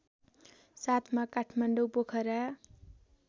साथमा काठमाडौँ पोखरा